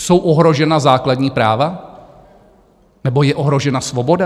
Jsou ohrožena základní práva nebo je ohrožena svoboda?